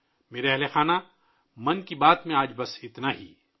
میرے پریوار جنوں ، آج من کی بات میں اتنا ہی ہے